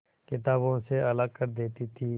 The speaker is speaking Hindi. किताबों से अलग कर देती थी